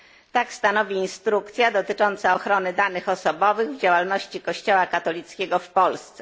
Tak stanowi instrukcja dotycząca ochrony danych osobowych w działalności Kościoła katolickiego w Polsce.